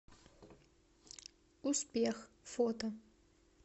успех фото